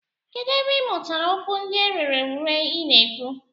Kedụ ebe ị mụtara okwu ndị a rere ure ị na-ekwu?